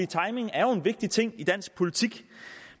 timing er jo en vigtig ting i dansk politik